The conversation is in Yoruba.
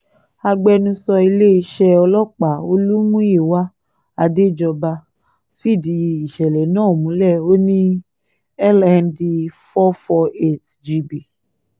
agbẹnusọ iléeṣẹ́ ọlọ́pàá olùmúyíwá àdéjọba fìdí ìṣẹ̀lẹ̀ náà múlẹ̀ ó ní lnd 448 gb